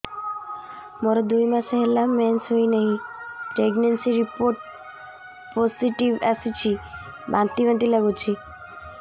ମୋର ଦୁଇ ମାସ ହେଲା ମେନ୍ସେସ ହୋଇନାହିଁ ପ୍ରେଗନେନସି ରିପୋର୍ଟ ପୋସିଟିଭ ଆସିଛି ବାନ୍ତି ବାନ୍ତି ଲଗୁଛି